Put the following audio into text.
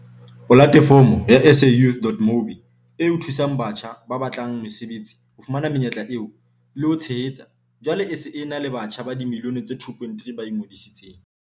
Polatefomo ya SAYouth.mobi, eo e thusang batjha ba batlang mesebetsi ho fumana menyetla eo, le ho ba tshehetsa, jwale e se e na le batjha ba dimilione tse 2.3 ba ingodisitseng.